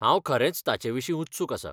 हांव खरेंच ताचे विशीं उत्सुक आसां.